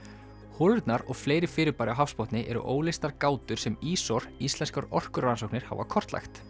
holurnar og fleiri fyrirbæri á hafsbotni eru óleystar gátur sem ÍSOR Íslenskar orkurannsóknir hafa kortlagt